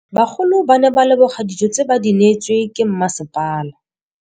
Bagolo ba ne ba leboga dijô tse ba do neêtswe ke masepala.